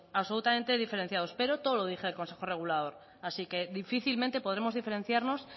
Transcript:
absolutamente diferenciados pero todo lo dirige el consejo regulador así que difícilmente podremos diferenciarnos